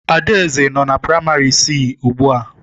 Adaeze nọ na praimari siisi ugbu a